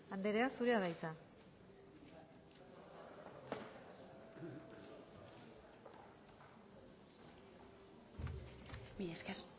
andrea zurea da hitza mila esker